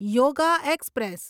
yoga express